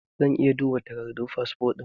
Zan iya duba takardun fasfo ɗinka?